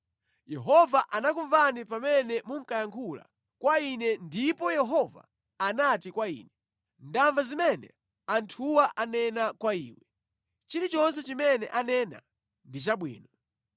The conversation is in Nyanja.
Yehova anakumvani pamene munkayankhula kwa ine ndipo Yehova anati kwa ine, “Ndamva zimene anthuwa anena kwa iwe. Chilichonse chimene anena ndi chabwino.